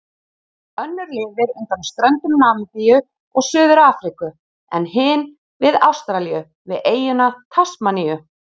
Önnur lifir undan ströndum Namibíu og Suður-Afríku en hin við Ástralíu, við eyjuna Tasmaníu.